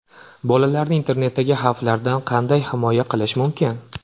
Bolalarni internetdagi xavflardan qanday himoya qilish mumkin?.